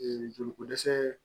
joli ko dɛsɛ